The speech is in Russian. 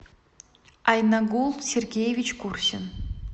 айнагул сергеевич курсин